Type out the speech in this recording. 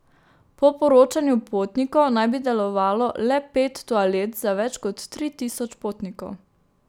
Po poročanju potnikov naj bi delovalo le pet toalet za več kot tri tisoč potnikov.